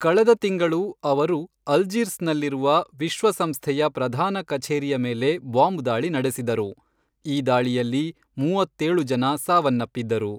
ಕಳೆದ ತಿಂಗಳು ಅವರು ಅಲ್ಜೀರ್ಸ್ನಲ್ಲಿರುವ ವಿಶ್ವಸಂಸ್ಥೆಯ ಪ್ರಧಾನ ಕಛೇರಿಯ ಮೇಲೆ ಬಾಂಬ್ ದಾಳಿ ನಡೆಸಿದರು, ಈ ದಾಳಿಯಲ್ಲಿ ಮೂವತ್ತೇಳು ಜನ ಸಾವನ್ನಪ್ಪಿದರು.